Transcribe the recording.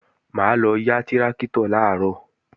Mà á lọ yá tráktọ̀ làárọ̀